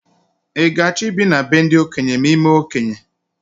I ga achọ i bi na be ndị okenye ma imee okenye?